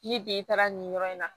Ni den taara nin yɔrɔ in na